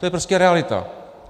To je prostě realita.